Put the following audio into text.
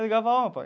Ligava, ó pai,